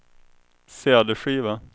cd-skiva